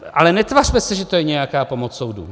Ale netvařme se, že to je nějaká pomoc soudu.